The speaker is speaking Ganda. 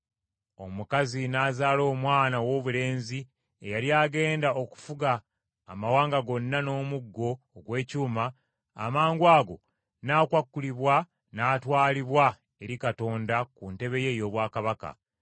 Omukazi n’azaala omwana owoobulenzi eyali agenda okufuga amawanga gonna n’omuggo ogw’ekyuma, amangwago n’akwakulibwa n’atwalibwa eri Katonda ku ntebe ye ey’obwakabaka.